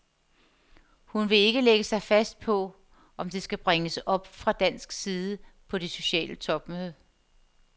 Hun vil ikke lægge sig fast på, om det skal bringes op fra dansk side på det sociale topmøde.